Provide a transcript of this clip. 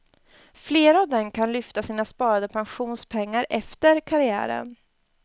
Flera av dem kan lyfta sina sparade pensionspengar efter karriären.